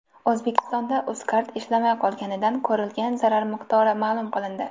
O‘zbekistonda UzCard ishlamay qolganidan ko‘rilgan zarar miqdori ma’lum qilindi.